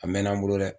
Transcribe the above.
A mɛnna n bolo dɛ